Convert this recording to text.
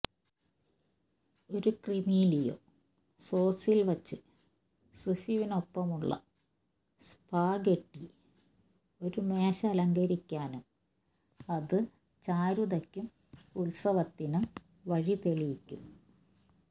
ഒരു ക്രീമിലിയോ സോസിൽ വച്ച് സീഫുവിനൊപ്പമുള്ള സ്പാഗെട്ടി ഒരു മേശ അലങ്കരിക്കാനും അത് ചാരുതക്കും ഉത്സവത്തിനും വഴിതെളിക്കും